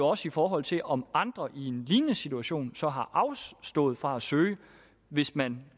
også i forhold til om andre i en lignende situation så har afstået fra at søge hvis man